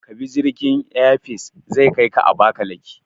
Kabi jirgin Air Peace, zai kaika Abakalaki.